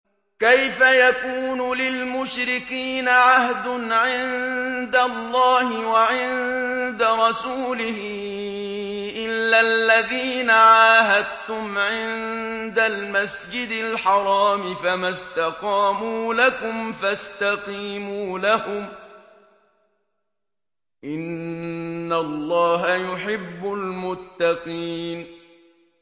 كَيْفَ يَكُونُ لِلْمُشْرِكِينَ عَهْدٌ عِندَ اللَّهِ وَعِندَ رَسُولِهِ إِلَّا الَّذِينَ عَاهَدتُّمْ عِندَ الْمَسْجِدِ الْحَرَامِ ۖ فَمَا اسْتَقَامُوا لَكُمْ فَاسْتَقِيمُوا لَهُمْ ۚ إِنَّ اللَّهَ يُحِبُّ الْمُتَّقِينَ